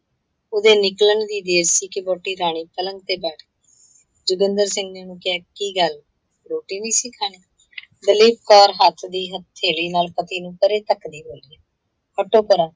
ਉਹਦੇ ਨਿਕਲਣ ਦੀ ਦੇਰ ਸੀ, ਕਿ ਵਹੁਟੀ ਰਾਣੋ ਪਲੰਗ ਤੇ ਬੈਠ ਗਈ। ਜੋਗਿੰਦਰ ਸਿੰਘ ਨੇ ਉਹਨੂੰ ਕਿਹਾ ਕੀ ਗੱਲ, ਰੋਟੀ ਨਹੀਂ ਸੀ ਖਾਣੀ? ਦਲੀਪ ਕੌਰ ਹੱਸਦੀ ਹਥੇਲੀ ਨਾਲ ਪਤੀ ਨੂੰ ਪਰੇ ਧੱਕ ਦੀ ਬੋਲੀ, ਹਟੋ ਪਰਾਂ